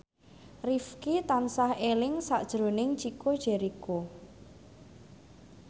Rifqi tansah eling sakjroning Chico Jericho